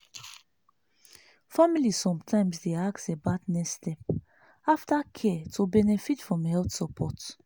family sometimes dey ask about next step after care to benefit from health support.